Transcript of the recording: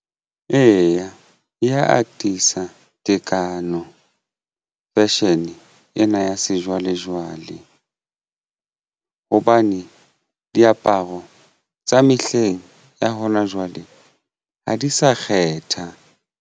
Eya, e atisa tekano fashion ena ya sejwalejwale hobane diaparo tsa mehleng ya hona jwale ha di sa kgetha.